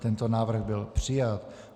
Tento návrh byl přijat.